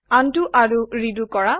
undo আৰু redo কৰা